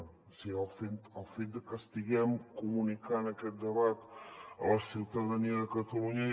o sigui el fet de que estiguem comunicant aquest debat a la ciutadania de catalunya